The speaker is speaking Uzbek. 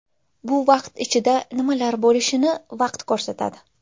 Bu vaqt ichida nimalar bo‘lishini vaqt ko‘rsatadi.